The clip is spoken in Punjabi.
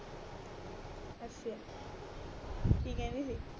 ਅੱਛਾ ਕਿਕਹਿੰਦੀ ਸੀ